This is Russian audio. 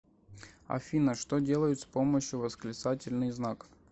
афина что делают с помощью восклицательный знак